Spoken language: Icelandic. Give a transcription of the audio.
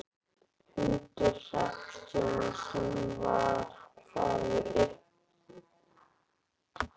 Hundur hreppstjórans sem var hvað uppivöðslusamastur fór á óvæntan hátt.